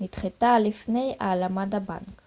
נדחתה לפני הלאמת הבנק